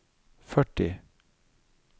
førti